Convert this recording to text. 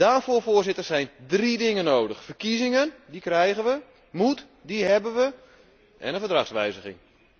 Daarvoor, Voorzitter, zijn drie dingen nodig verkiezingen die krijgen we, moed die hebben we, en een verdragswijziging.